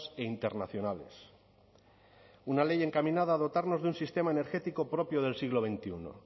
e internacionales una ley encaminada a dotarnos de un sistema energético propio del siglo veintiuno